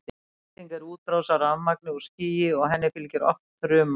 elding er útrás af rafmagni úr skýi og henni fylgir oft þruma